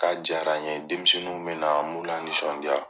K'a diyara n ye, denmisɛnnu bɛna an b'u lanisɔndiya.